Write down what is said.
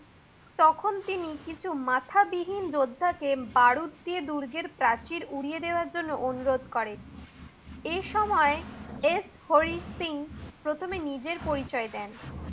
তখন তিনি কিছু মাথা বিহীন যুদ্ধাকে বারুত দিয়ে দুর্ঘের পাচির সরিয়ে দেয়ার জন্য অনুরোধ করে। এই সময় এস হরি সিং প্রথমে নিজের পরিচয় দেন।